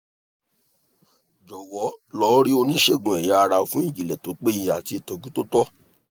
jọ̀wọ́ lo ri oníṣègùn eya ara fún ìjìnlẹ̀ tó péye àti ìtọ́jú tó tọ́